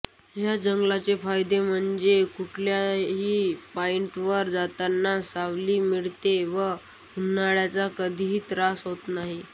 ह्या जंगलाचा फायदा म्हणजे कुठल्याही पॉईंटवर जाताना सावली मिळते व उन्हाचा कधीही त्रास होत नाही